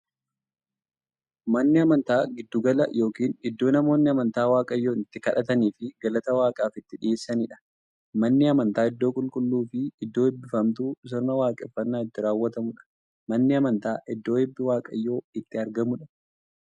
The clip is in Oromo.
Manni amantaa giddu gala yookiin iddoo namoonni amantaa waaqayyoon itti kadhataniifii galata waaqaaf itti dhiyeessaniidha. Manni amantaa iddoo qulqulluufi iddoo eebbifamtuu, sirna waaqeffannaa itti raawwatuudha. Manni amantaa iddoo eebbi waaqayyoo itti argamuudha.